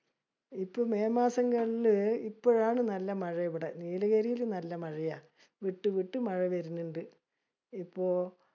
ഇപ്പൊ മെയ് മാസങ്ങളില് ഇപ്പോഴാണ് നല്ല മഴ ഇവിടെ. നീലഗിരിയില് നല്ല മഴയാ. വിട്ട് വിട്ട് മഴ വര്ണിണ്ട്. ഇപ്പൊ